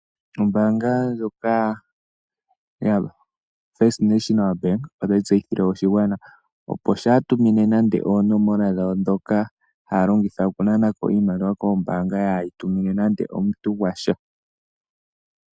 Ombaanga ya FNB , ota yi tseyithile aantu opo kaaya gandje oonomola dhawo dhuu kalata wa wo kaantu kehe.